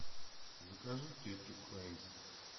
закажи кетчуп хайнц